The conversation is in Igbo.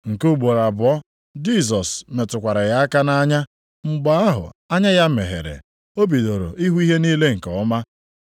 Nke ugboro abụọ Jisọs metụkwara ya aka nʼanya, mgbe ahụ anya ya meghere. O bidoro ịhụ ihe niile nke ọma.